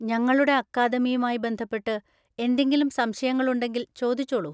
ഞങ്ങളുടെ അക്കാദമിയുമായി ബന്ധപ്പെട്ട് എന്തെങ്കിലും സംശയങ്ങളുണ്ടെങ്കിൽ ചോദിച്ചോളൂ.